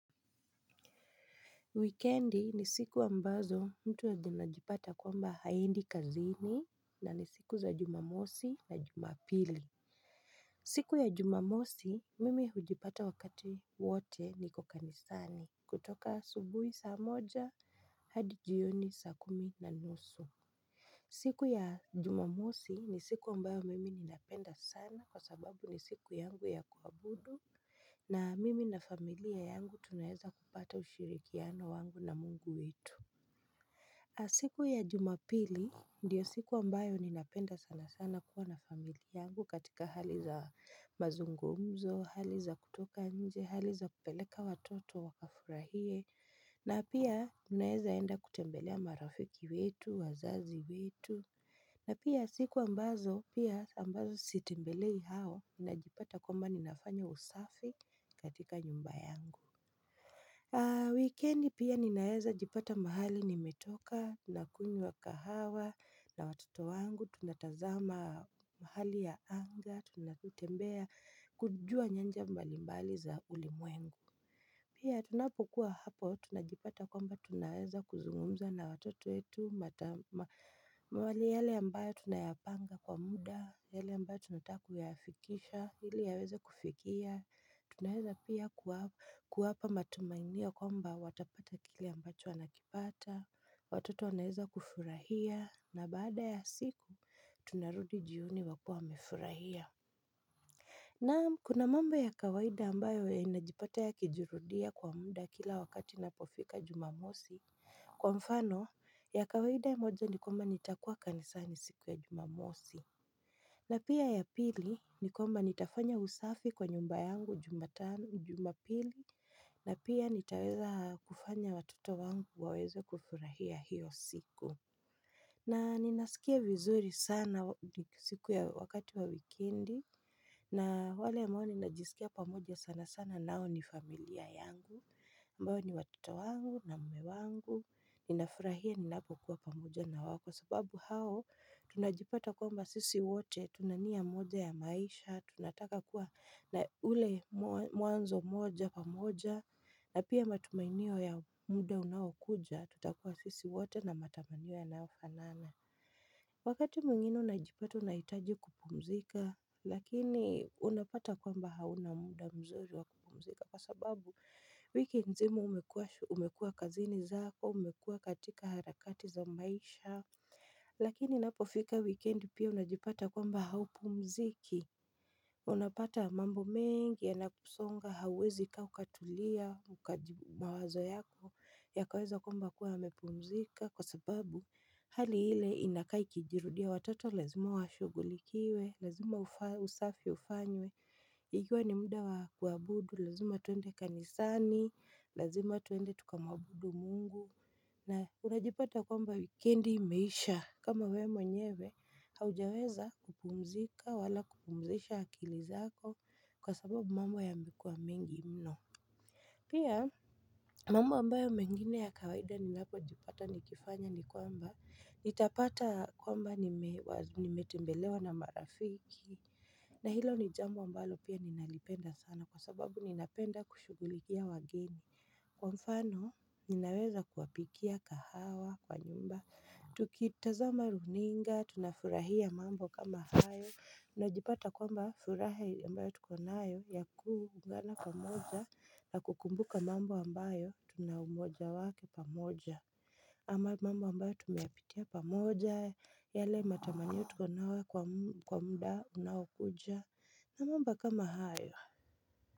Wikendi ni siku ambazo mtu anajipata kwamba haendi kazini na ni siku za jumamosi na jumapili siku ya jumamosi mimi hujipata wakati wote niko kanisani kutoka asubuhi saa moja hadi jioni saa kumi na nusu siku ya jumamosi ni siku ambayo mimi ninapenda sana kwa sababu ni siku yangu ya kuabudu na mimi na familia yangu tunaeza kupata ushirikiano wangu na Mungu wetu na siku ya jumapili ndiyo siku ambayo ninapenda sana sana kuwa na familia yangu katika hali za mazungumzo, hali za kutoka nje, hali za kupeleka watoto wakafurahie na pia tunaeza enda kutembelea marafiki wetu, wazazi wetu na pia siku ambazo, pia ambazo sitembelei hao na jipata kwamba ninafanya usafi katika nyumba yangu. Wikendi pia ninaeza jipata mahali nimetoka, tunakunywa kahawa na watoto wangu, tunatazama hali ya anga, tunatutembea kujua nyanja mbalimbali za ulimwengu. Pia tunapokuwa hapo tunajipata kwamba tunaweza kuzungumza na watoto wetu mwale yale ambayo tunayapanga kwa muda yale ambayo tunataku yaafikisha hili yaweza kufikia Tunaeza pia kuwapa matumaini ya kwamba watapata kile ambacho wanakipata Watoto wanaeza kufurahia na baada ya siku tunarudi jioni wakiwa wamefurahia Naam kuna mambo ya kawaida ambayo inajipata yakijurudia kwa muda kila wakati inapofika jumamosi Kwa mfano ya kawaida ya moja nikwamba nitakuwa kanisani siku ya jumamosi na pia ya pili nikwamba nitafanya usafi kwa nyumba yangu jumapili na pia nitaweza kufanya watuto wangu waweze kufurahia hiyo siku na ninasikia vizuri sana siku ya wakati wa wikendi na wale mwani najisikia pamoja sana sana nao ni familia yangu. Mwani watoto wangu na mume wangu, ninafurahia ninapokuwa pamoja na wao kwa sababu hao tunajipata kwamba sisi wote, Tuna nia moja ya maisha, tunataka kuwa na ule mwanzo moja pamoja na pia matumainio ya muda unaokuja, tutakuwa sisi wote na matamanio yanayofanana Wakati mwingine unajipata unaitaji kupumzika Lakini unapata kwamba hauna muda mzuri wa kupumzika Kwa sababu wiki nzima umekua kazini zako, umekua katika harakati za maisha Lakini inapofika wikendi pia unajipata kwamba haupumziki Unapata mambo mengi ya nakusonga hawuezi kaa ukatulia Ukajibu mawazo yako ya kaweza kwamba kuwa yamepumzika Kwa sababu hali hile inaka ikijirudia watoto lazima wa shugulikiwe Lazima usafi ufanywe Ikiwa ni muda wa kua budu, lazima twende kanisani Lazima tuende tukamwabudu Mungu na unajipata kwamba wikendi imeisha kama we mwenyewe haujaweza kupumzika wala kupumzisha akili zako kwa sababu mambo ya mekuwa mengi mno Pia mambo ambayo mengine ya kawaida ninapo jipata nikifanya ni kwamba nitapata kwamba nimetembelewa na marafiki na hilo ni jambo ambalo pia ninalipenda sana kwa sababu ninapenda kushugulikia wageni Kwa mfano, ninaweza kuwapikia kahawa kwa nyumba, tukitazama runinga, tunafurahia mambo kama hayo, unajipata kwamba furaha ambayo tuko nayo, ya kuungana pamoja, na kukumbuka mambo ambayo, tuna umoja wake pamoja. Ama mambo ambayo tumeyapitia pamoja, yale matamanio tuko nayo kwa mda unaokuja, na mambo kama hayo.